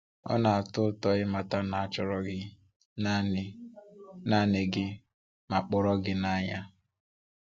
Ọ na-atọ ụtọ ịmata na a chọrọ gị naanị naanị gị ma kpọrọ gị n’anya.